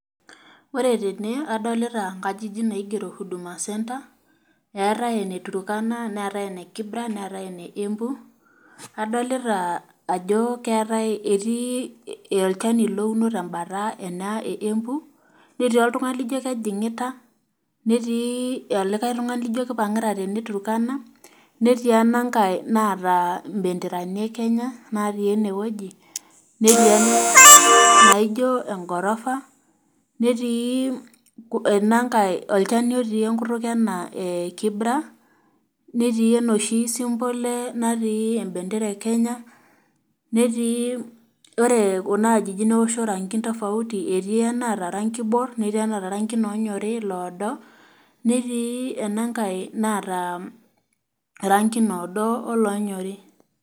Ore tene adolita inkajijik naigero huduma center eetae ene tukana neetae ene kibraa neetae ene embu. Adolita Ajo etii olchani louno tebata ena e embu netii oltungani laijio kejigita netii olikae tungani laajio keipagita teneturkana netii ena ngae naata imbederani e Kenya natii enewueji netii enangae naajio engorofa netii olchani otii enkutuk ena e kibra netii enoshi symbol natii embendera e Kenya, ore Kuna ajijik neosho irangin tofauti etii enaata orangi oibor netii enaata irangin oonyori ,iloodo, netii enangae naata irangin oodo oloonyori.